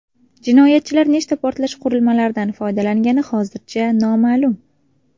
Jinoyatchilar nechta portlatish qurilmalaridan foydalangani hozircha noma’lum.